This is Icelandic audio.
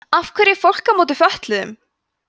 af hverju er fólk á móti fötluðum